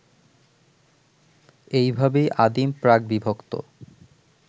এইভাবেই আদিম প্রাক-বিভক্ত